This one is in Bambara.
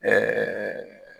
Ɛɛɛ